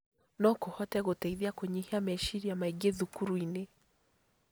No kũhote gũteithia kũnyihia meciaria maingĩ thukuru-inĩ.